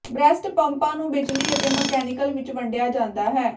breast ਪੰਪਾਂ ਨੂੰ ਬਿਜਲੀ ਅਤੇ ਮਕੈਨੀਕਲ ਵਿੱਚ ਵੰਡਿਆ ਜਾਂਦਾ ਹੈ